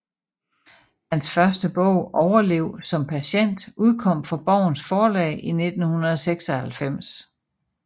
Hans første bog Overlev som Patient udkom fra Borgens Forlag i 1996